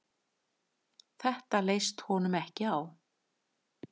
Þetta leist honum ekki á.